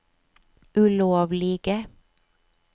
ulovlige